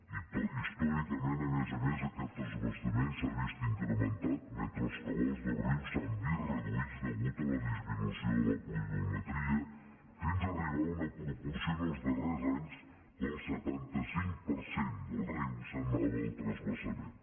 i històricament a més a més aquest transvasament s’ha vist incrementat mentre els cabals del riu s’han vist reduïts a causa de la disminució de la pluviometria fins arribar a una proporció en els darrers anys que el setanta cinc per cent del riu se n’anava al transvasament